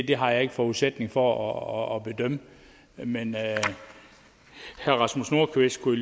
det har jeg ikke forudsætninger for at bedømme men herre rasmus nordqvist kunne